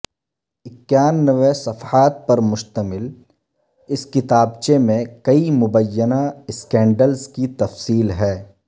اکانوے صفحات پر مشتمل اس کتابچے میں کئی مبینہ سکینڈلز کی تفصیل ہے